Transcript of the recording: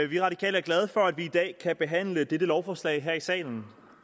vi radikale er glade for at vi i dag kan behandle dette lovforslag her i salen